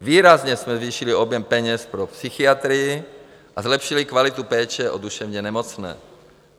Výrazně jsme zvýšili objem peněz pro psychiatry a zlepšili kvalitu péče o duševně nemocné.